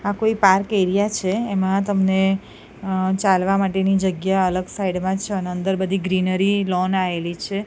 આ કોઈ park area છે એમાં તમને ચાલવા માટે ની જગ્યા અલગ સાઈડ માં છે અને અંદર બધી ગ્રીનરી લૉન આયેલી છે.